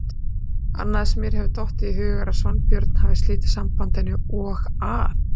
Annað sem mér hefur dottið í hug er að Sveinbjörn hafi slitið sambandinu og að